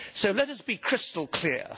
Let us be crystal clear.